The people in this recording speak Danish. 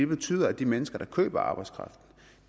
betyder at de mennesker der køber arbejdskraften